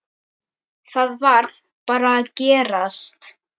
Það varð bara að gerast.